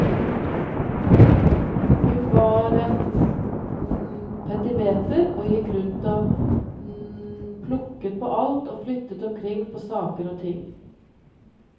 Hun var et petimeter og gikk rundt og plukket på alt og flyttet omkring på saker og ting.